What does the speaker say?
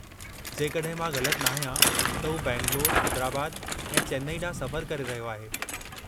जेकड॒हिं मां ग़लत नाहियां त हू बैंगलोरु, हैदराबाद ऐं चेन्नई ॾांहुं सफ़रु करे रहियो आहे।